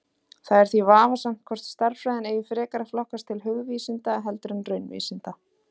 Það er því vafasamt hvort stærðfræðin eigi frekar að flokkast til hugvísinda heldur en raunvísinda.